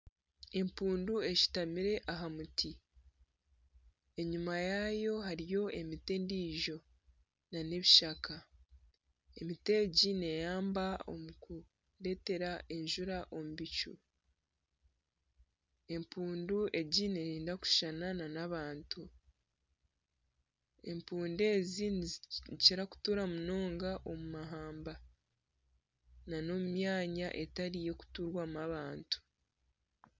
Empundu eshitamire aha muti enyima yaayo hariyo emiti endiijo n'ebishaka emiti egi neehwera omu kureetera enjura omu bicu, empundu egi neeyenda kushushana n'abantu, empundu ezi nizikira kutuura munonga omu mahamba n'omu myanya etari y'okuturwamu abantu.